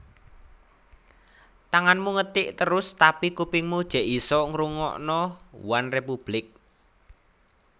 Tanganmu ngetik terus tapi kupingmu jek isok ngrungokno OneRepublic